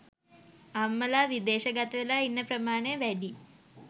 අම්මලා විදේශ ගතවෙලා ඉන්න ප්‍රමාණය වැඩියි.